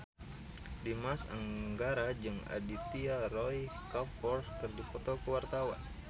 Dimas Anggara jeung Aditya Roy Kapoor keur dipoto ku wartawan